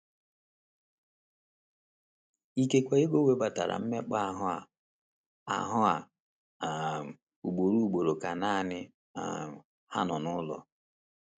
Ikekwe Ego nwetara mmekpa ahụ́ a ahụ́ a um ugboro ugboro ka nanị um ha nọ n’ụlọ.